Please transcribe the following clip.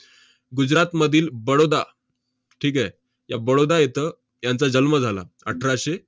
गुजरातमधील बडोदा, ठीक आहे? त्या बडोदा येथं यांचा जन्म झाला, अठराशे